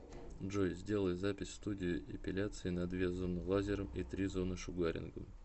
джой сделай запись в студию эпиляции на две зоны лазером и три зоны шугарингом